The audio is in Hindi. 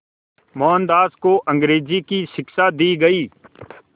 मोहनदास को अंग्रेज़ी की शिक्षा दी गई